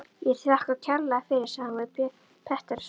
Ég þakka kærlega fyrir, sagði hún við frú Pettersson.